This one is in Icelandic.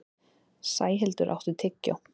Sæhildur, áttu tyggjó?